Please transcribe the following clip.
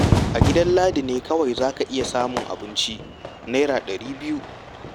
A gidan Ladi ne kawai za ka iya samun abincin Naira ɗari biyu.